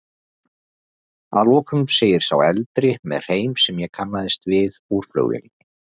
Að lokum segir sá eldri, með hreim sem ég kannast við úr flugvélinni.